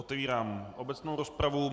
Otevírám obecnou rozpravu.